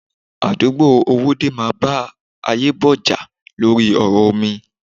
Àdúgbò Owódé máa bá Ayebo jà lórí ọ̀rọ̀ omi.